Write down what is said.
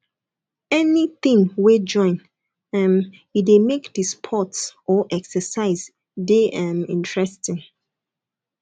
anything wey join um e de make di sports or exercise de um interesting